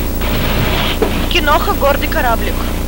киноха гордый кораблик